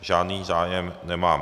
Žádný zájem nemám.